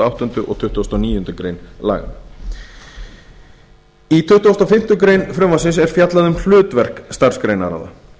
áttunda og tuttugasta og níundu grein laganna í tuttugasta og fimmtu grein frumvarpsins er fjallað um hlutverk starfsgreinaráða